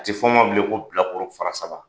A tɛ f'a ma bilen ko bilakoro fara saba.